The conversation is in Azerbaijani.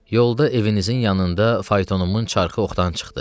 Yolda evinizin yanında faytonumun çarxı oxdan çıxdı.